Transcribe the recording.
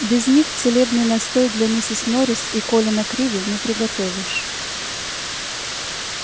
без них целебный настой для миссис норрис и колина криви не приготовишь